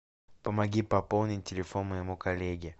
помоги пополнить телефон моему коллеге